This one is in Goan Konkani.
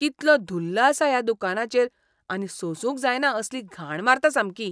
कितलो धुल्ल आसा ह्या दुकानाचेर आनी सोंसूंक जायना असली घाण मारता सामकी.